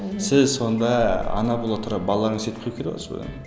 сіз сонда ана бола тұра баланы